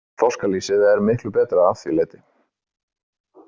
Þorskalýsið er miklu betra að því leyti.